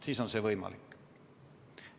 Siis on see võimalik.